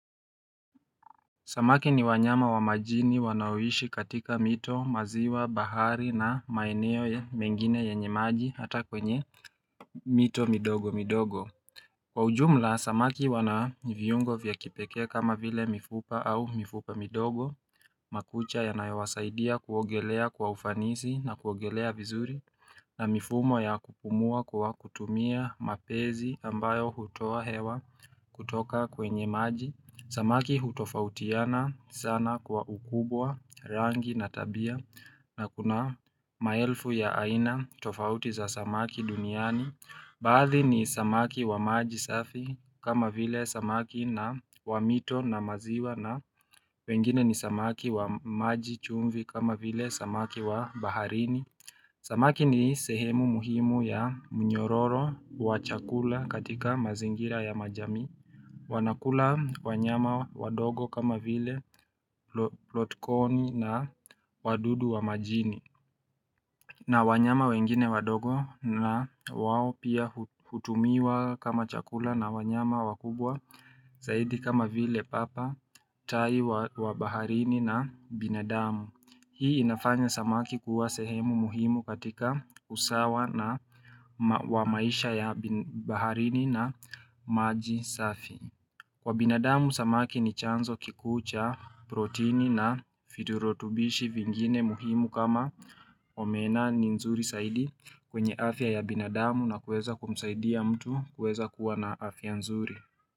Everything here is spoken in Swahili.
Samaki ni wanyama wa majini wanaoishi katika mito, maziwa, bahari na maeneo ya mengine yenye maji hata kwenye mito midogo midogo. Kwa ujumla, samaki wanaviyungo vya kipekea kama vile mifupa au mifupa midogo, makucha yanayawasaidia kuogelea kwa ufanisi na kuogelea vizuri na mifumo ya kupumua kwa kutumia mapezi ambayo hutoa hewa kutoka kwenye maji. Samaki hutofautiana sana Kwa ukubwa, rangi na tabia na kuna maelfu ya aina tofauti za samaki duniani Badhi ni samaki wa maji safi kama vile samaki na wa mito na maziwa na wengine ni samaki wa maji chumvi kama vile samaki wa baharini Samaki ni sehemu muhimu ya mnyororo wa chakula katika mazingira ya majami wanakula wanyama wadogo kama vile lotkoni na wadudu wa majini na wanyama wengine wadogo na wawo pia hutumiwa kama chakula na wanyama wakubwa Zaidi kama vile papa, tai wa baharini na binadamu Hii inafanya samaki kuwa sehemu muhimu katika usawa na wamaisha ya baharini na maji safi Kwa binadamu samaki ni chanzo kikuu cha, protini na fiturotubishi vingine muhimu kama omena ni nzuri saidi kwenye afya ya binadamu na kueza kumsaidia mtu kueza kuwa na afya nzuri.